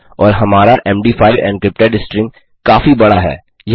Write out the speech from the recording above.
और हमारा मद5 एनक्रिप्टेड स्ट्रिंग काफी बड़ा है